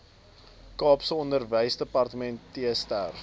kaapse onderwysdepartement streef